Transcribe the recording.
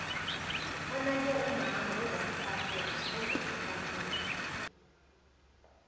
onake umama ongumfakela